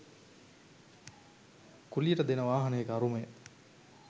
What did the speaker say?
කුලියට දෙන වාහනයක අරුමය.